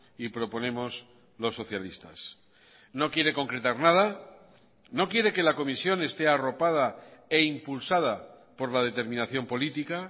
y proponemos los socialistas no quiere concretar nada no quiere que la comisión esté arropada e impulsada por la determinación política